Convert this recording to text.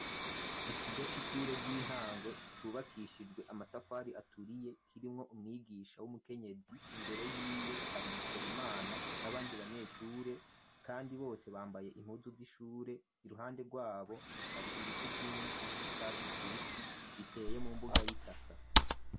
Ikigo c'ishure ry'intango cubakishijwe amatafari aturiye kirimwo umwigisha w'umukenyezi imbere yiwe hari Bikorimana nabandi banyeshure kandi bose bambaye impuzu z'ishure iruhande rwabo hari ibiti vyinshi vy'icatsi kibisi biteye mu mbuga y'itaka.